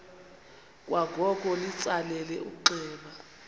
kwangoko litsalele umnxeba